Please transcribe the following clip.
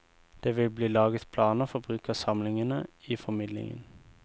Det vil bli laget planer for bruk av samlingene i formidlingen.